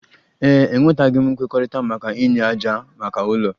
Ee e, enwetaghị m nkwekọrịta maka inye ájá maka ụlọ